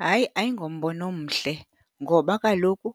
Hayi, ayingombono omhle ngoba kaloku